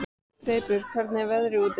Greipur, hvernig er veðrið úti?